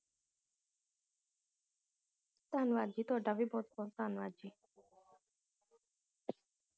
ਧੰਨਵਾਦ ਜੀ ਤੁਹਾਡਾ ਵੀ ਬਹੁਤ ਬਹੁਤ ਧੰਨਵਾਦ ਜੀ